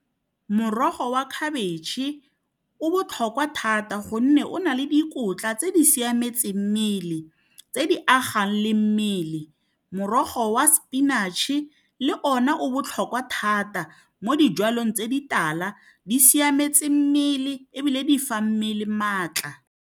Morogo wa khabetšhe o botlhokwa thata gonne o na le dikotla tse di siametseng mmele tse di agang le mmele morogo wa spinach-e le ona o botlhokwa thata mo dijalong tse di tala di siametse mmele ebile di fa mmele maatla.